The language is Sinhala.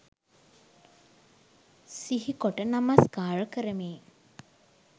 සිහිකොට නමස්කාර කරමි.